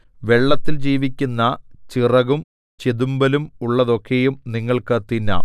വെള്ളത്തിൽ ജീവിക്കുന്ന ചിറകും ചെതുമ്പലും ഉള്ളതൊക്കെയും നിങ്ങൾക്ക് തിന്നാം